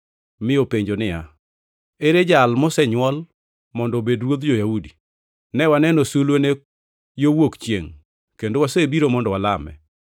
mi openjo niya, “Ere jal mosenywol mondo obed ruodh jo-Yahudi? Ne waneno sulwene yo wuok chiengʼ kendo wasebiro mondo walame.”